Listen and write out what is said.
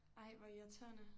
Ej hvor irriterende